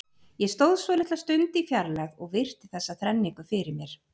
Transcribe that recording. Ég stóð svolitla stund í fjarlægð og virti þessa þrenningu fyrir mér.